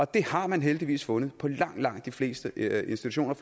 det har man heldigvis fundet på langt langt de fleste institutioner